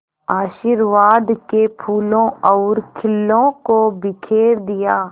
आशीर्वाद के फूलों और खीलों को बिखेर दिया